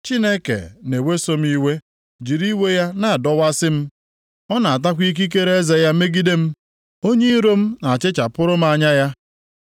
Chineke na-eweso m iwe, jiri iwe ya na-adọwasị m, ọ na-atakwa ikikere eze ya megide m; onye iro m na-achịchapụrụ m anya ya.